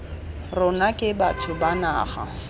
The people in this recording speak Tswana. rona ke batho ba naga